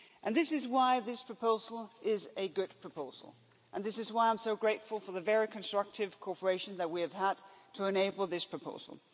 harm. This is why this proposal is a good proposal and this is why I'm so grateful for the very constructive cooperation that we have had to enable this proposal.